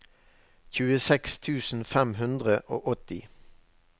tjueseks tusen fem hundre og åtti